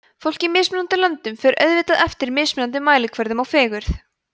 fólk í mismunandi löndum fer auðvitað eftir mismunandi mælikvörðum á fegurð